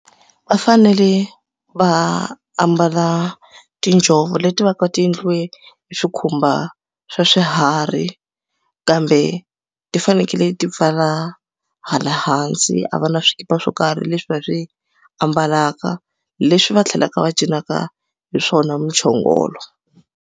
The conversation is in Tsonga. Va fanele va ambala tinjhovo leti va ka ti endliwe hi swikhumba swa swiharhi kambe ti faneleke ti pfala hala hansi a va na swikipa swo karhi leswi va swi ambalaka leswi va tlhelaka va cinaka hi swona muchongolo.